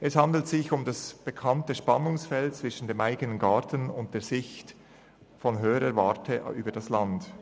Es handelt sich um das bekannte Spannungsfeld zwischen der Perspektive aus dem eigenen Garten und derjenigen aus höherer Warte über das Land.